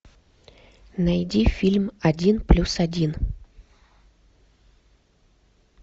найди фильм один плюс один